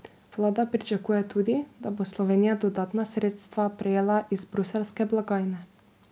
Vlada pričakuje tudi, da bo Slovenija dodatna sredstva prejela iz bruseljske blagajne.